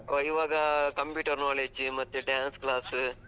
ಇವಾಗ computer knowledge ಮತ್ತೆ dance class.